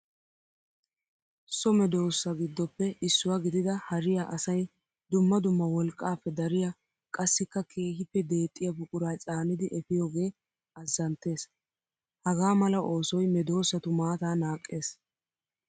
So medosa giddoppe issuwa gididda hariya asay dumma dumma wolqqappe dariya qassikka keehippe deexiya buqura caaniddi efiyooge azantees. Haga mala oosoy medosattu maata naaqes.